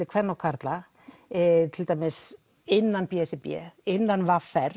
kvenna og karla til dæmis innan b s r b eða innan v r